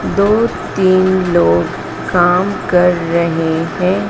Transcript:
दो तीन लोग काम कर रहे हैं।